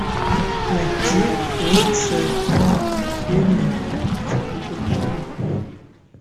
найти лучшие фильмы детектив